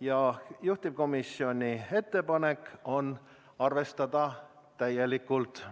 ja juhtivkomisjoni ettepanek on arvestada seda täielikult.